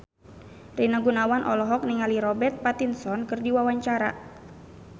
Rina Gunawan olohok ningali Robert Pattinson keur diwawancara